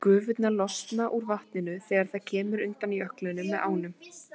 Gufurnar losna úr vatninu þegar það kemur undan jöklinum með ánum.